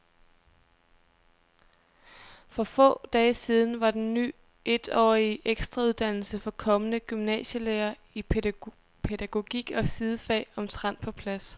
For få dage siden var den ny etårige ekstrauddannelse for kommende gymnasielærere i pædagogik og sidefag omtrent på plads.